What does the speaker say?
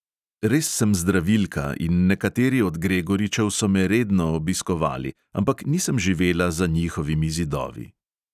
Res sem zdravilka in nekateri od gregoričev so me redno obiskovali, ampak nisem živela za njihovimi zidovi.